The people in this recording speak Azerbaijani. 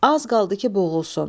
Az qaldı ki, boğulsun.